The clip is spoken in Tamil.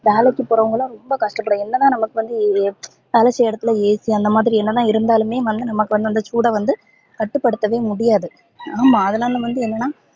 வேலைக்கு போரவங்கலா ரொம்ப கஷ்டபடுவோம் என்னனா நமக்கு வந்து வேலை செய்யிற எடத்துல AC அந்த மாதிரி என்னதா இருந்தாலுமே நமக்கு வந்து அந்த சூடவந்து கட்டு படுத்தவே முடியாது ஆமா அதுனால வந்து என்னனா